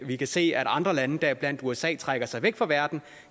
vi kan se at andre lande deriblandt usa trækker sig væk fra verden